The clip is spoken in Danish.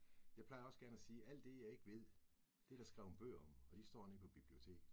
Jeg plejer også gerne at sige alt det jeg ikke ved, det der skrevet bøger om, og de står nede på biblioteket